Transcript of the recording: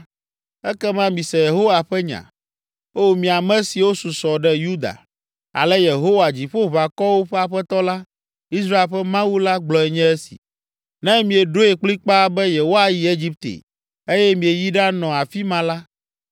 ekema mise Yehowa ƒe nya, ‘O mi ame siwo susɔ ɖe Yuda, ale Yehowa Dziƒoʋakɔwo ƒe Aƒetɔ la, Israel ƒe Mawu la gblɔe nye esi: “Ne mieɖoe kplikpaa be yewoayi Egipte, eye mieyi ɖanɔ afi ma la,